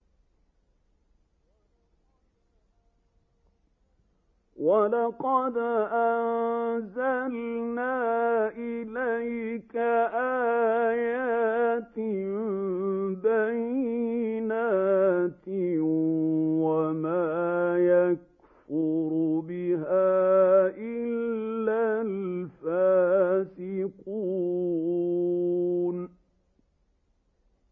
وَلَقَدْ أَنزَلْنَا إِلَيْكَ آيَاتٍ بَيِّنَاتٍ ۖ وَمَا يَكْفُرُ بِهَا إِلَّا الْفَاسِقُونَ